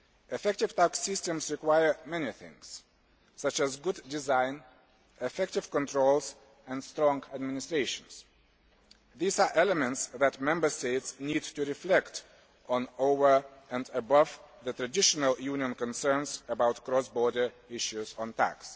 Effective tax systems require many things, such as good design, effective controls and strong administrations. These are elements that Member States need to reflect on, over and above the traditional Union concerns about cross border issues on tax.